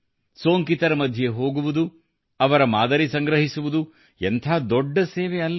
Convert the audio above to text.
ಸೋಂಕಿತರ ಮಧ್ಯೆ ಹೋಗುವುದು ಅವರ ಮಾದರಿ ಸಂಗ್ರಹಿಸುವುದು ಎಂಥ ದೊಡ್ಡ ಸೇವೆ ಅಲ್ಲವೆ